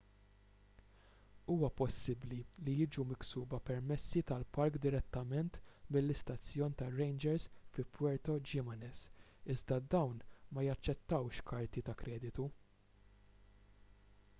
huwa possibbli li jiġu miksuba permessi tal-park direttament mill-istazzjon tar-rangers fi puerto jiménez iżda dawn ma jaċċettawx karti ta' kreditu